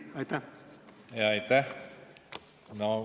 Aitäh!